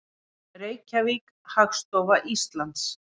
Reykjavík, Hagstofa Íslands.